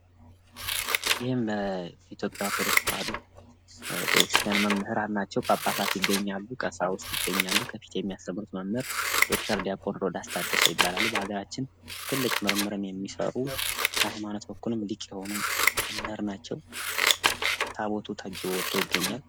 ይህም የኢትዮጵያ ኦርቶዶክስ ተዋሕዶ ቤተክርስቲያን መምህራን ናቸው ። ጳጳሳት ይገኛሉ ቀሰውስት ይገኛሉ ከፊት የሚያስተምሩት መምህር ዶክተር ዲያቆን ሮዳስ ታደሰ ይባላሉ በሀገራችን ትልቅ ምርምርን ሚሰሩ በሀይማኖት በኩልም ሊቅ የሆኑ መምህር ናቸው። ታቦቱ ታጅቦ ወጦ ይገኛል ።